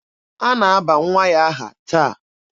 A na-aba nwa ya aha taa.